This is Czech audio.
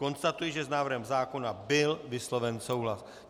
Konstatuji, že s návrhem zákona byl vysloven souhlas.